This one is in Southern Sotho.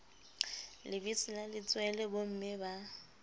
lebese la letswele bomme ba